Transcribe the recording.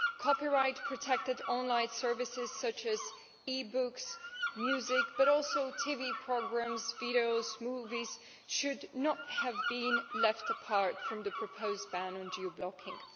Copyright protected online services, such as e books and music, but also TV programmes, videos and movies, should not have been left out of the proposed ban on geo blocking.